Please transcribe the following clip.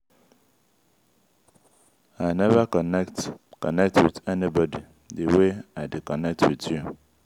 i never connect connect with anybody the way i dey connect with you